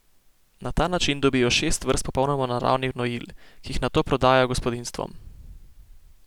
Na ta način dobijo šest vrst popolnoma naravnih gnojil, ki jih nato prodajajo gospodinjstvom.